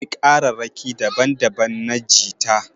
Akwai kararraƙi daban daban na jita